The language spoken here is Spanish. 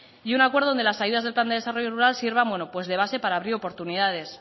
y un acuerdo donde las ayudas del plan de desarrollo rural sirvan de base para abrir oportunidades